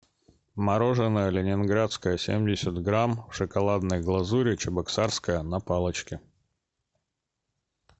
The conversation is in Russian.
мороженое ленинградское семьдесят грамм в шоколадное глазури чебоксарское на палочке